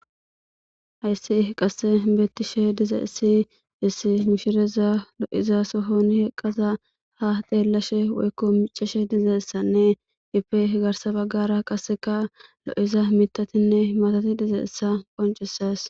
Hayssi i qasse beettishe diza issi issi mishireza lo7iza sohoni heqqaza ha deellashe woykko miceshe diza issanne ipe garsa baggara qasseka lo7iza mitatinne matati diza issa qoncises